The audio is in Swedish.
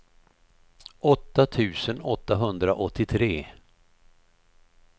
åtta tusen åttahundraåttiotre